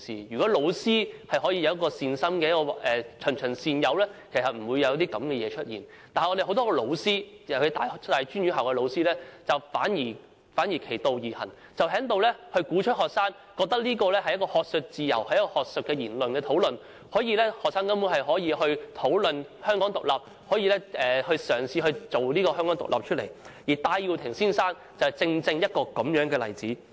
如果教師可以善心地循循善誘，其實不會有這些事發生，但有很多老師，尤其是大專院校的老師反其道而行，鼓動學生，認為這是學術自由，是學術討論，學生根本可以討論香港獨立，可以嘗試推動香港獨立，而戴耀廷先生正是這樣的例子。